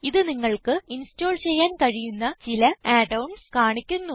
ഇത് നിങ്ങൾക്ക് ഇൻസ്റ്റോൾ ചെയ്യാൻ കഴിയുന്ന ചില add ഓൺസ് കാണിക്കുന്നു